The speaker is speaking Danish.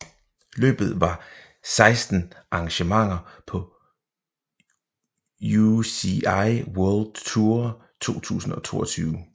Løbet var sekstende arrangement på UCI World Tour 2022